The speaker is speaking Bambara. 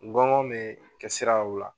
Gɔngɔn me kɛ siraw la.